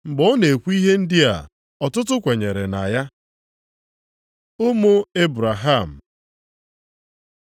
Mgbe ọ na-ekwu ihe ndị a, ọtụtụ kwenyere na ya. Ụmụ nke Ebraham